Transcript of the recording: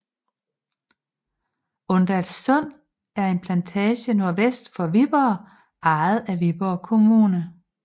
Undallslund er en plantage nordvest for Viborg ejet af Viborg Kommune